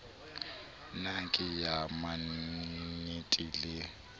na ke ya mannte le